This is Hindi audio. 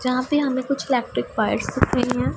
जहां पे हमे कुछ इलेक्ट्रिक बाइक दिख रहे है।